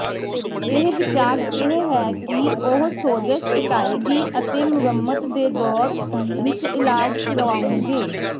ਇਹ ਵਿਚਾਰ ਇਹ ਹੈ ਕਿ ਉਹ ਸੋਜਸ਼ ਘਟਾਏਗੀ ਅਤੇ ਮੁਰੰਮਤ ਦੇ ਦੌਰ ਵਿੱਚ ਇਲਾਜ ਕਰਵਾਉਣਗੇ